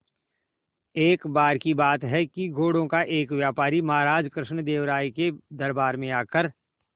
एक बार की बात है कि घोड़ों का एक व्यापारी महाराज कृष्णदेव राय के दरबार में आकर